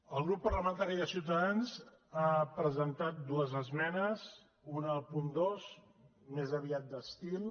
el grup parlamentari de ciutadans ha presentat dues esmenes una al punt dos més aviat d’estil